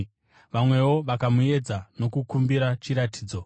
Vamwewo vakamuedza nokumukumbira chiratidzo.